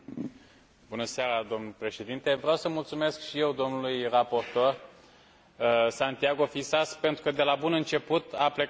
Vreau să mulțumesc și eu domnului raportor Santiago Fisas pentru că de la bun început a plecat pe ideea consensului.